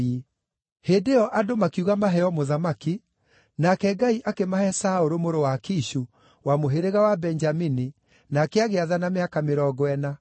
Hĩndĩ ĩyo andũ makiuga maheo mũthamaki, nake Ngai akĩmahe Saũlũ mũrũ wa Kishu, wa mũhĩrĩga wa Benjamini, nake agĩathana mĩaka mĩrongo ĩna.